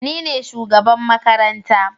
Nine shugaban makaranta